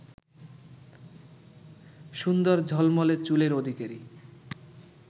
সুন্দর ঝলমলে চুলের অধিকারী